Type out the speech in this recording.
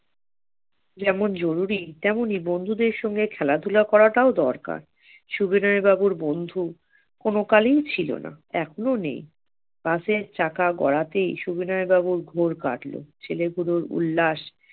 যেমন জরুরী তেমনি বন্ধুদের সঙ্গে খেলাধুলা করাটাও দরকার। সুবিনয় বাবুর বন্ধু কোন কালীন ছিল না এখনো নেই বাসের চাকা গড়াতেই সুবিনয় বাবুর কাটলো ছেলেগুলোর উল্লাস